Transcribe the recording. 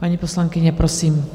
Paní poslankyně, prosím.